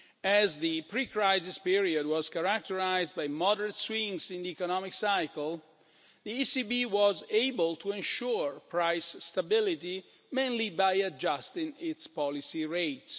As the pre-crisis period was characterised by moderate swings in the economic cycle, the ECB was able to ensure price stability mainly by adjusting its policy rates.